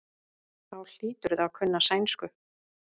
Þá hlýturðu að kunna sænsku.